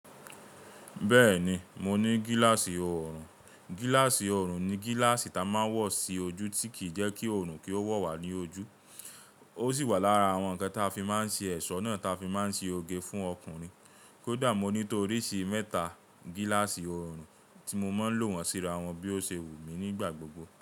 Bẹ́ẹ̀ni, mo ní gílàsì ọrùn. Gílàsì ọrùn ni gílàsì ta máa wọ̀ sí ojú tí kì í jẹ́ kí òrùn kí ó wọ̀ wá ní ojú. Ó sì wà lára àwọn ǹkan ta fi máa ń ṣe ẹ̀ṣọ́ náà ta fi máa ń ṣe oge fún ọkùnrin. Kódà mo ní tó oríṣi mẹ́ta gílàsì orùn tí mo máa ń lò wọ́n síra wọn bí ó ṣe wù mí nígbà gbogbo.